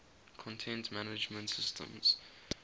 content management systems